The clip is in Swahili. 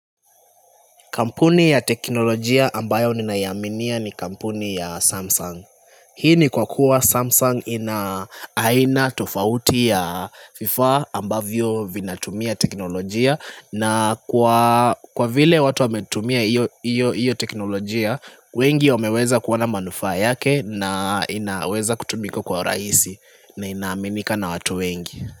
Kampuni ya teknolojia ambayo ni naiaminia ni kampuni ya Samsung Hii ni kwa kuwa Samsung ina aina tofauti ya FIFA ambavyo vinatumia teknolojia na kwa vile watu wametumia hiyo teknolojia, wengi wameweza kuoana manufaa yake na inaweza kutumiko kwa uraisi na inaaminika na watu wengi.